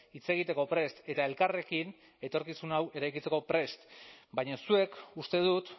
hitz egiteko prest eta elkarrekin etorkizun hau eraikitzeko prest baina zuek uste dut